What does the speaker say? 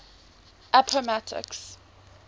appomattox